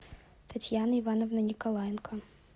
татьяны ивановны николаенко